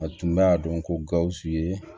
A tun b'a dɔn ko gawusu ye